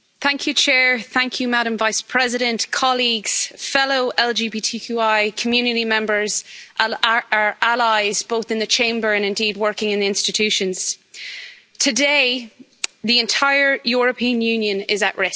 Mr President, Madam Vice President, colleagues, fellow LGBTQI community members, and our allies, both in the Chamber and indeed working in the institutions, today the entire European Union is at risk.